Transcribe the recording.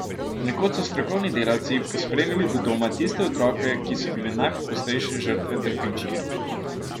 Ponekod so strokovni delavci pospremili do doma tiste otroke, ki so bili najpogosteje žrtve trpinčenja.